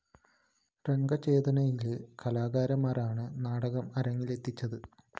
രംഗചേതനയിലെ കലാകാരന്മാരാണ്‌ നാടകം അരങ്ങിലെത്തിച്ചത്‌